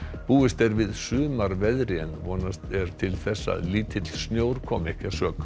búist er við sumarveðri en vonast er til að lítill snjór komi ekki að sök